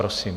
Prosím.